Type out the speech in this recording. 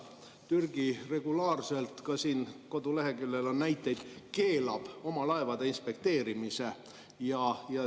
Türgi regulaarselt – ka koduleheküljel on selle kohta näiteid – keelab oma laevade inspekteerimise.